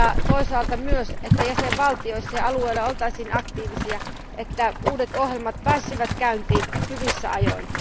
Toisaalta toivon myös, että jäsenvaltioissa ja alueilla oltaisiin aktiivisia, että uudet ohjelmat pääsisivät käyntiin hyvissä ajoin.